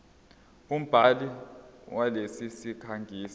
umbhali walesi sikhangisi